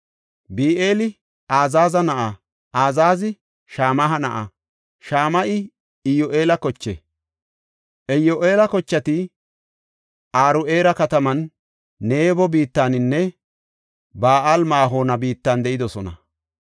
Bi7eeli Azaaza na7a; Azaazi Shama7a na7a; Shama7i Iyyu7eela koche. Iyyu7eela kochati Aro7eera kataman, Nebo biittaninne Ba7aal-Ma7oona biittan de7idosona.